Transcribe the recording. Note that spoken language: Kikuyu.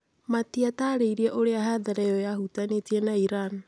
Matiataarĩirie ũrĩa hathara ĩyo yahutanĩtie na Iran".